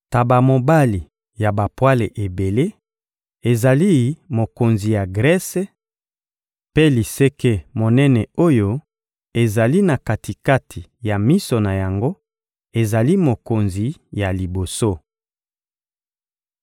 Ntaba mobali ya bapwale ebele ezali mokonzi ya Grese, mpe liseke monene oyo ezali na kati-kati ya miso na yango ezali mokonzi ya liboso.